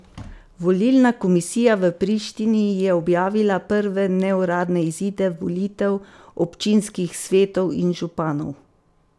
Volilna komisija v Prištini je objavila prve neuradne izide volitev občinskih svetov in županov.